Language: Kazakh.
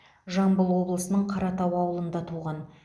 жамбыл облысының қаратау ауылында туған